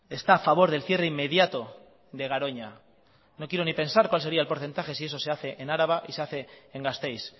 está a favor del cierre inmediato de garoña no quiero ni pensar cuál sería el porcentaje si eso se hace en araba y se hace en gasteiz